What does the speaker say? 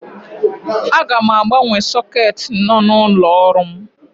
Aga m agbanwe sọketi nọ n'ụlọ ọrụ m.